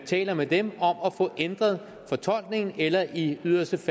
taler med dem om at få ændret fortolkningen eller i yderste